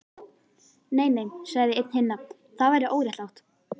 Nei, nei sagði einn hinna, það væri óréttlátt